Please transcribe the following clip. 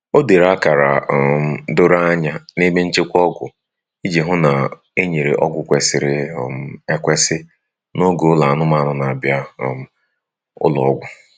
O dere akara um doro anya na ebe nchekwa ọgwụ iji hụ na enyere ọgwụ kwesịrị um ekwesị n'oge ụlọ anụmanụ n'abia um ụlọ ọgwụ.